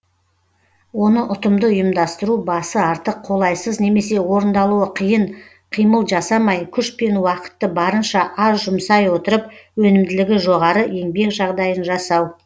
оны ұтымды ұйымдастыру басы артық қолайсыз немесе орындаулы қиын қимыл жасамай күш пен уақытты барынша аз жұмсай отырып өнімділігі жоғары еңбек жағдайын жасау